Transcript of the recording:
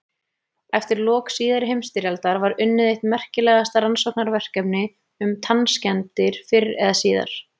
Eftir lok síðari heimsstyrjaldar var unnið eitt merkilegasta rannsóknarverkefni um tannskemmdir fyrr eða síðar.